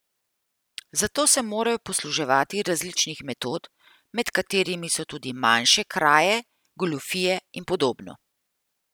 Zato se morajo posluževati različnih metod, med katerimi so tudi manjše kraje, goljufije in podobno.